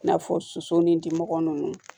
I n'a fɔ soso ni dimɔgɔ ninnu